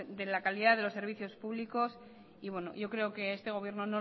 de la calidad de los servicios públicos y yo creo que este gobierno